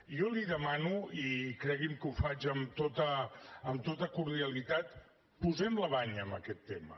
jo li demano i cregui’m que ho faig amb tota cordialitat posem la banya amb aquest tema